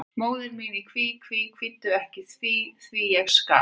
Móðir mín í kví, kví, kvíddu ekki því, því, ég skal.